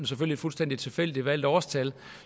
selvfølgelig fuldstændig tilfældigt valgte årstal